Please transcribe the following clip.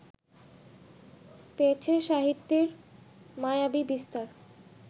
পেয়েছে সাহিত্যের মায়াবী বিস্তার